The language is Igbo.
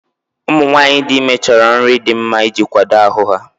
Ụmụ nwanyị dị ime chọrọ nri dị mma iji kwado ahụ ha.